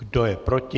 Kdo je proti?